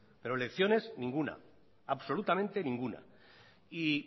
pero lecciones ninguna absolutamente ninguna y